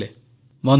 ବନ୍ଧୁଗଣ